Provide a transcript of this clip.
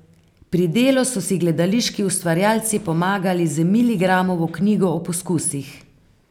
Pri delu so si gledališki ustvarjalci pomagali z Milgramovo knjigo o poskusih.